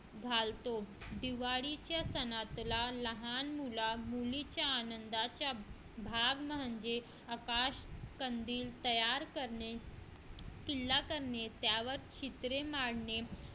घालतो दिवाळीच्या सणातला लहान मुला मुलीच्या आनंदात चा भाग म्हणजे आकाश कंदील तयार करणे किल्ला करणे त्यावर शीतळे मारने